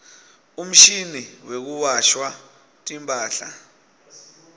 umshini wekuwasha timphahla